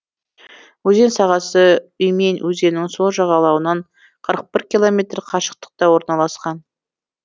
өзен сағасы уймень өзенінің сол жағалауынан қырық бір километр қашықтықта орналасқан